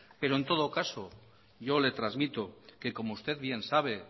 pero en todo caso yo le transmito que como usted bien sabe